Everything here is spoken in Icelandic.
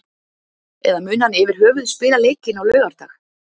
Eða mun hann yfirhöfuð spila leikinn á laugardag?